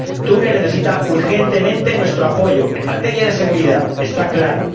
Túnez necesita urgentemente nuestro apoyo en materia de seguridad, está claro